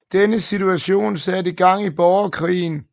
Denne situation satte gang i borgerkrigen